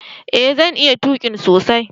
eh zan iya tuki sosai